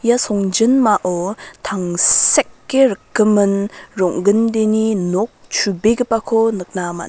songjinmao tangseke rikgimin rong·gindeni nok chubegipako nikna man·a.